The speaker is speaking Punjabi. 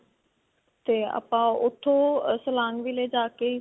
ਤੇ ਆਪਾਂ ਉੱਥੋਂ silang ਜਾ ਕੇ.